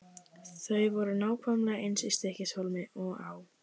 Þau voru nákvæmlega eins í Stykkishólmi og á